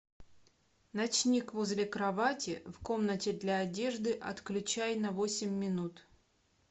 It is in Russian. ночник возле кровати в комнате для одежды отключай на восемь минут